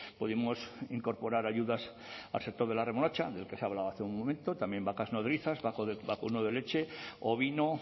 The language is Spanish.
pudimos incorporar ayudas al sector de la remolacha del que se ha hablado hace un momento también vacas nodrizas vacuno de leche ovino